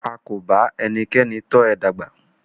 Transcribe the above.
A kò ba ẹnikẹ́ni tọ ẹ dàgbà.